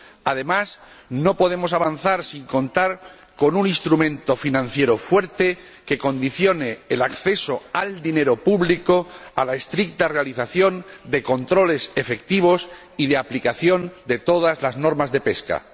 Además, no podemos avanzar sin contar con un instrumento financiero fuerte, que condicione el acceso al dinero público a la estricta realización de controles efectivos y a la aplicación de todas las normas de pesca.